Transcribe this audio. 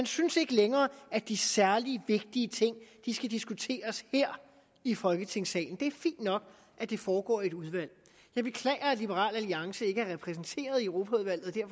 synes ikke længere at de særlig vigtige ting skal diskuteres her i folketingssalen det er fint nok at det foregår i et udvalg jeg beklager at liberal alliance ikke er repræsenteret i europaudvalget